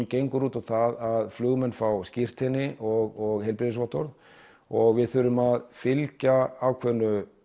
gengur út á það flugmenn fái skírteini og heilbrigðisvottorð og við þurfum að fylgja ákveðnu